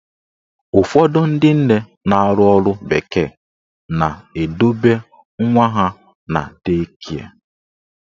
Ụfọdụ ndị nne na-arụ ọrụ bekee na-edobe nwa ha na dei kịe.